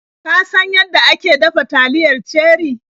Ka san yanda ake dafa taliyar Cherie?